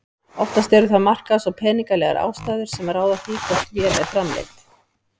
Oftast eru það markaðs- og peningalegar ástæður sem ráða því hvort vél er framleidd.